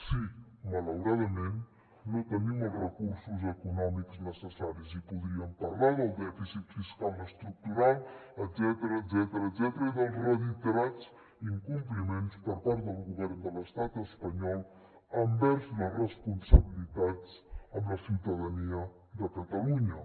sí malauradament no tenim els recursos econòmics necessaris i podríem parlar del dèficit fiscal estructural etcètera i dels reiterats incompliments per part del govern de l’estat espanyol envers les responsabilitats amb la ciutadania de catalunya